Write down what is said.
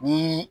Ni